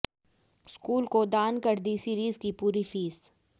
school को दान कर दी सीरीज की पूरी फीस